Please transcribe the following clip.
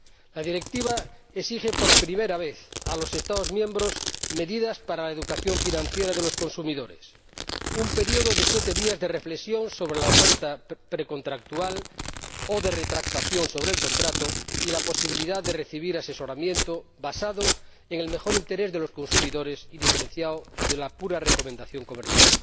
La Directiva exige por primera vez a los Estados miembros medidas para la educación financiera de los consumidores, un periodo de siete días de reflexión sobre la oferta precontractual o de retractación sobre el contrato y la posibilidad de recibir asesoramiento basado en el mejor interés de los consumidores y diferenciado de la pura recomendación comercial.